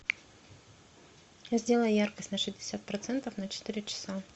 сделай яркость на шестьдесят процентов на четыре часа